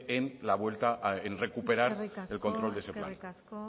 en recuperar el control de ese plan eskerrik asko